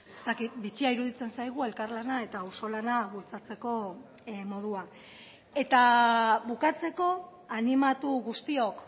ez dakit bitxia iruditzen zaigu elkarlana eta auzolana bultzatzeko modua eta bukatzeko animatu guztiok